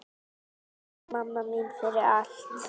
Takk mamma mín fyrir allt.